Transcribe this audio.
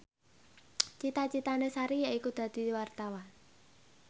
cita citane Sari yaiku dadi wartawan